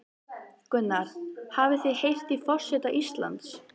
Gunnar: Hafið þið heyrt í forseta Íslands?